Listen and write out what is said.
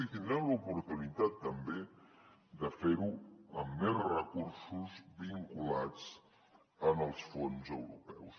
i tindrem l’oportunitat també de fer ho amb més recursos vinculats als fons europeus